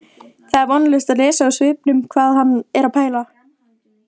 Það er vonlaust að lesa úr svipnum hvað hann er að pæla